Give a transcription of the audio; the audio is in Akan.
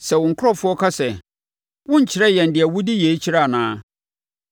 “Sɛ wo nkurɔfoɔ ka sɛ, ‘Worenkyerɛ yɛn deɛ wode yei kyerɛ anaa a,’